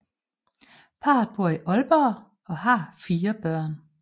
Parret bor i Aalborg og har fire børn